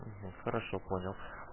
хорошо понял